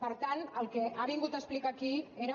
per tant el que ha vingut a explicar aquí era